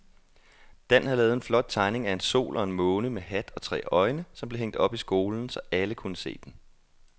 Dan havde lavet en flot tegning af en sol og en måne med hat og tre øjne, som blev hængt op i skolen, så alle kunne se den.